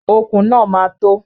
Okùn náà máa tó.